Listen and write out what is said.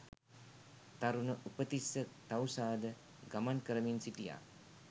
තරුණ උපතිස්ස තවුසාද ගමන් කරමින් සිටියා